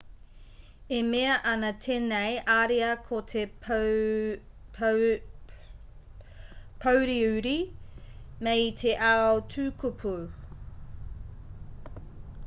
e mea ana tēnei ariā ko te pōuriuri mei te ao tukupū